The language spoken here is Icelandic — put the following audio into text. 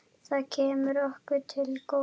Það kemur okkur til góða.